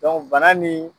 bana ni